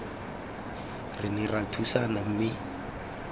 re ne ra thusana mme